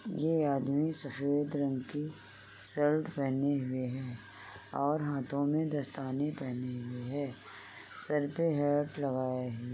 ये आदमी सफेद रंग के शर्ट पेहने हुए हैं और हाथों मे दस्ताने पेहने हुए हैं। सर पर हैट लगाए हुए --